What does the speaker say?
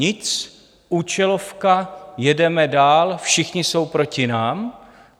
Nic, účelovka, jedeme dál, všichni jsou proti nám.